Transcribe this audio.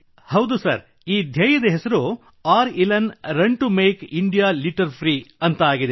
ಹೌದು ಸರ್ ಈ ಧ್ಯೇಯದ ಹೆಸರು R|Elan run to make India litter free ಎಂದಾಗಿದೆ